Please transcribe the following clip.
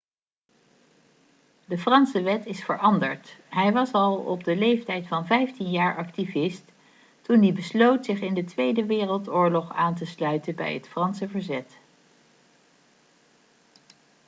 de franse wet is veranderd hij was al op de leeftijd van 15 jaar activist toen hij besloot zich in de tweede wereldoorlog aan te sluiten bij het franse verzet